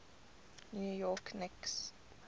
new york knicks